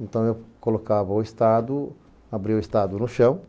Então, eu colocava o estado, abria o estado no chão,